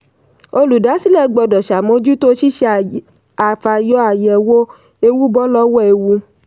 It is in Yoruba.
olùdásílẹ̀ gbọ́dọ̀ ṣàmójútó ṣíṣe àfàyọ/àyẹ̀wò ewu bọ́ lọ́wọ́ ewu.